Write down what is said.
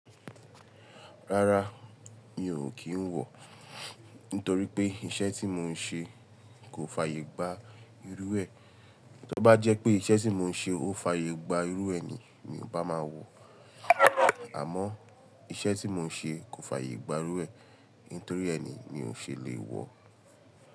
Rárá mi ò kí ń wọ, nítorí pé iṣẹ́ tí mò ń ṣe kò fàyè gba irú ẹ. Tó bá jẹ́ pé iṣẹ́ tí mò ń ṣe ó fàyè gba irú ẹ ni, mi ò bá máa wọ. Àmọ́ iṣẹ́ tí mò ń ṣe kò fàyè gba irú ẹ nítorí ẹ ni mí ò ṣe lè wọ.